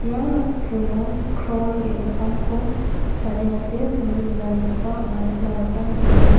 ia nokdringo krong ge·gittamko chadengate songe donanikoba anga nikna gita man·enga.